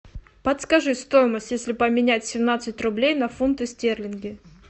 подскажи стоимость если поменять семнадцать рублей на фунты стерлинги